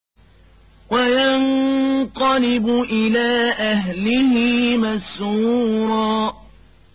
وَيَنقَلِبُ إِلَىٰ أَهْلِهِ مَسْرُورًا